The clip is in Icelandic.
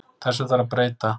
Þessu þarf að breyta.